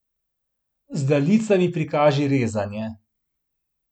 Z daljicami prikaži rezanje.